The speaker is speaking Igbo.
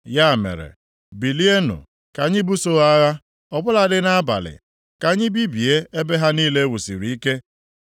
Ya mere, bilienụ ka anyị buso ha agha, ọ bụladị nʼabalị! Ka anyị bibie ebe ha niile e wusiri ike!”